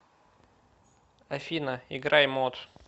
афина играй мот